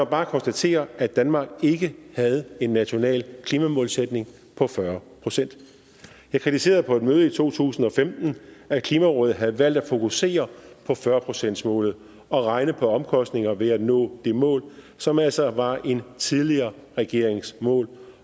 bare konstatere at danmark ikke havde en national klimamålsætning på fyrre procent jeg kritiserede på et møde i to tusind og femten at klimarådet havde valgt at fokusere på fyrre procentsmålet og regne på omkostningerne ved at nå det mål som altså var en tidligere regerings mål